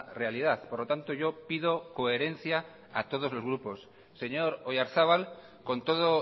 realidad por lo tanto yo pido coherencia a todos los grupos señor oyarzabal con todo